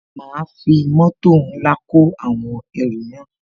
Ma fi mótò ńlá kó àwọn ẹrù náà